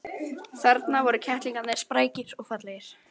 Þarna voru kettlingarnir, sprækir og fallegir.